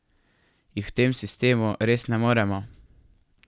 Jih v tem sistemu res ne moremo?